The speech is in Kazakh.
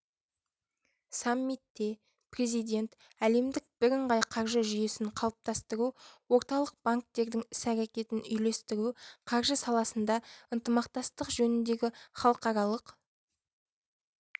саммитте президент әлемдік бірыңғай қаржы жүйесін қалыптастыру орталық банктердің іс-әрекеттерін үйлестіру қаржы саласында ынтымақтастық жөніндегі халықаралық